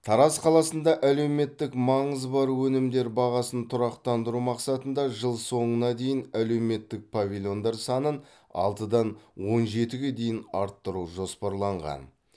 тараз қаласында әлеуметтік маңызы бар өнімдер бағасын тұрақтандыру мақсатында жыл соңына дейін әлеуметтік павильондар санын алтыдан он жетіге дейін арттыру жоспарланған